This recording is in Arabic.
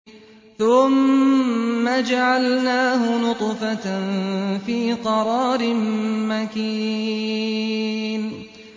ثُمَّ جَعَلْنَاهُ نُطْفَةً فِي قَرَارٍ مَّكِينٍ